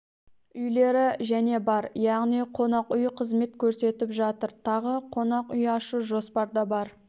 үйлері және бар яғни қонақ үй қызмет көрсетіп жатыр тағы қонақ үй ашу жоспарда бар